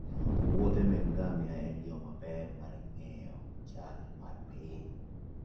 muodhe meke ngamia en yo maber mar ng'eyo chal mar piny.